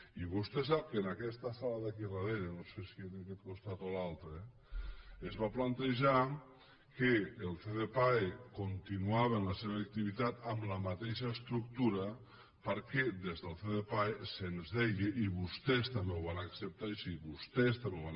i vostè sap que en aquesta sala d’aquí darrere no sé si en aquest costat o a l’altre es va plantejar que el ccpae continuava amb la seva activitat amb la mateixa estructura perquè des del ccpae se’ns deia i vostès també ho van acceptar així vostès també ho van